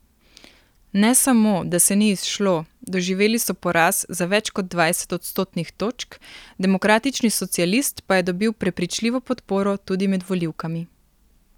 Ne samo, da se ni izšlo, doživeli so poraz za več kot dvajset odstotnih točk, demokratični socialist pa je dobil prepričljivo podporo tudi med volivkami.